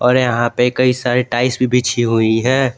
और यहां पे कई सारे टाइल्स भी बिछी हुई है।